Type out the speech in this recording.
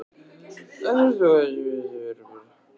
En ert þú þá með einhver einstaklings markmið fyrir sumarið?